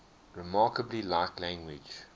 remarkably like language